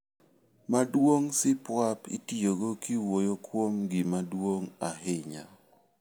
Maduong' supuap itiyogo kiwuoyo kuom gima duong' ahinya.